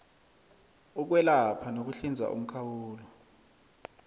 ukwelapha nokuhlinza umkhawulo